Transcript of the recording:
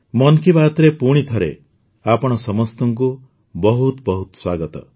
ମନ୍ କି ବାତ୍ରେ ପୁଣି ଥରେ ଆପଣ ସମସ୍ତଙ୍କୁ ବହୁତ ବହୁତ ସ୍ୱାଗତ